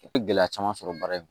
U bɛ gɛlɛya caman sɔrɔ baara in kɔnɔ